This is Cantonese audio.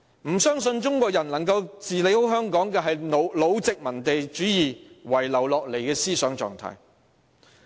不相信中國人有能力管好香港，這是老殖民主義遺留下來的思想狀態。